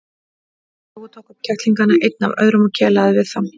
Jói tók upp kettlingana einn af öðrum og kelaði við þá.